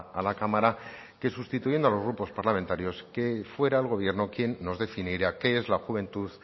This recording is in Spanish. a la cámara que sustituyendo a los grupos parlamentarios que fuera el gobierno quien nos definiera qué es la juventud